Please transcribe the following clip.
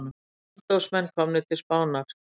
Andófsmenn komnir til Spánar